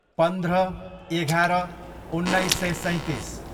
पन्ध्र, एघार, उन्नाइस सय सैँतिस